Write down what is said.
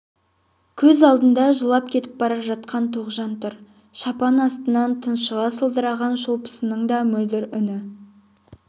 көз алдында жылап кетіп бара жатқан тоғжан тұр шапан астынан тұншыға сылдыраған шолпысының да мөлдір үні